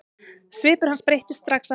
Svipur hans breyttist strax aftur.